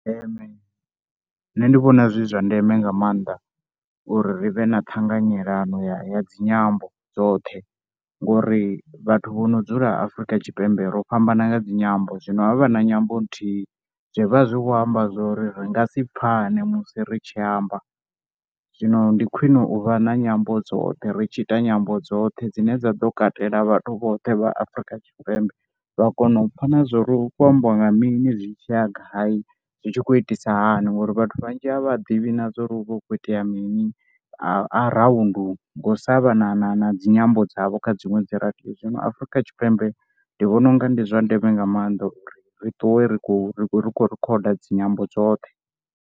Ee, nṋe ndi vhona zwi zwa ndeme nga maanḓa uri ri vhe na ṱhanganyelano ya dzi nyambo dzoṱhe ngori vhathu vho no dzula Afrika Tshipembe ro fhambana nga dzi nyambo. Zwino ha vha na nyambo nthihi zwi vha zwi khou amba zwo ri ri nga si pfhane musi ri tshi amba zwino ndi khwine u vha na nyambo dzoṱhe ri tshi ita nyambo dzoṱhe dzine dza ḓo katela vhathu vhoṱhe vha Afrika Tshipembe. Vha kona u pfha zwo ri hu kho ambiwa nga mini zwi tshi ya gai zwi tshi khou itisa hani ngori vhathu vhanzhi a vha ḓivhi na zwo ri hu vha hu kho itea mini around ngo sa vha na na na dzi nyambo dzavho kha dziṅwe dzi Radio. Zwino Afrika Tshipembe ndi vhona u nga ndi zwa ndeme nga maanḓa uri ri ṱuwe ri khou ri khou rikhoda dzi nyambo dzoṱhe.